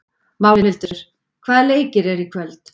Málhildur, hvaða leikir eru í kvöld?